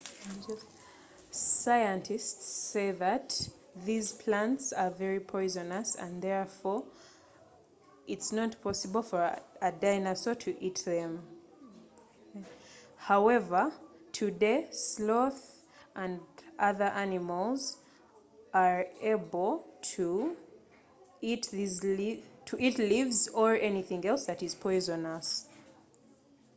bana sayansi bagamba nti ebimera bino bya busagwa nnyo era nga tekisoboka kuba nga waliwo ddayinaso yonna eya birya newankubadde leero sloth n’ebisolo ebirala byonna nga ensuku okuva mu lunyiriri lwa dayinaso esobola okulya ebikoola oba ebibala ebyobusagwa